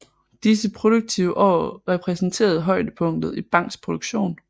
Disse produktive år repræsenterede højdepunktet i Bangs produktion